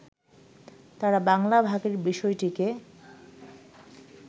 তাঁরা বাংলা ভাগের বিষয়টিকে